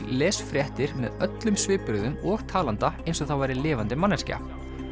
les fréttir með öllum svipbrigðum og talanda eins og það væri lifandi manneskja